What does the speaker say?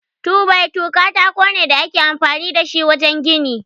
2-by-2 katako ne da ake amfani da shi wajen gini.